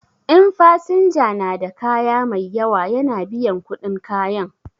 In fasinja na da kaya mai yawa ya na biyan kuɗin kayan.